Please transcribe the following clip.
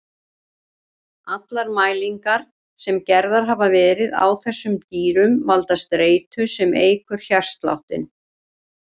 Allar mælingar sem gerðar hafa verið á þessum dýrum valda streitu sem eykur hjartsláttinn.